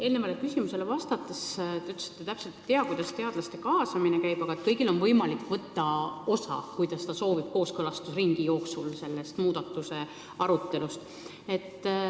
Eelnevale küsimusele vastates te ütlesite, et te täpselt ei tea, kuidas teadlaste kaasamine käib, aga kõigil, kes seda soovivad, on võimalik võtta kooskõlastusringi jooksul osa muudatuste arutelust.